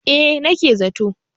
eh nake za to